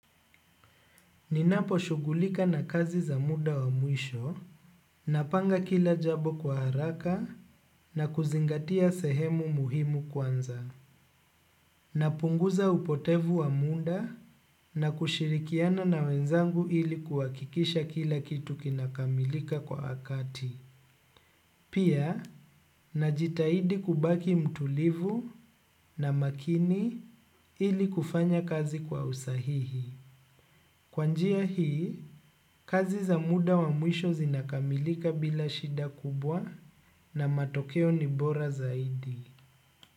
Ninapo shughulika na kazi za muda wa mwisho, napanga kila jambo kwa haraka na kuzingatia sehemu muhimu kwanza napunguza upotevu wa muda na kushirikiana na wenzangu ili kuhakikisha kila kitu kinakamilika kwa wakati. Pia, najitahidi kubaki mtulivu na makini ili kufanya kazi kwa usahihi. Kwa njia hii, kazi za muda wa mwisho zinakamilika bila shida kubwa na matokeo ni bora zaidi.